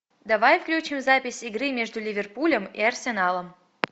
давай включим запись игры между ливерпулем и арсеналом